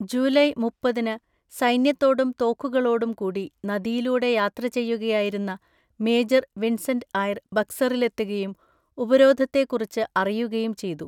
July മുപ്പത്തിന് സൈന്യത്തോടും തോക്കുകളോടും കൂടി നദിയിലൂടെ യാത്രചെയ്യുകയായിരുന്ന മേജർ വിൻസെൻ്റ് ഐർ ബക്സറിലെത്തുകയും ഉപരോധത്തെക്കുറിച്ച് അറിയുകയും ചെയ്തു.